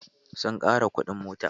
Sun ƙara kuɗin mota.